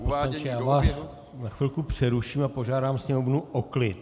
Pane poslanče, já vás na chvilku přeruším a požádám sněmovnu o klid.